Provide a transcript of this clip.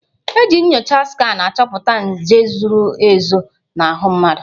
Eji nyocha skanụ achọpụta nje zoro ezo n'ahụ mmadụ.